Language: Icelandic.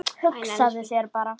Hugsaðu þér bara.